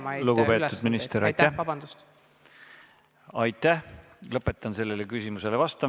Ma ei saa muidugi öelda nendele, kes üürimakseid korjavad, et ärge nüüd järgmised kolm kuud või kuus kuud üüri nõudke – nemad peavad ehk oma laenusid samamoodi maksma.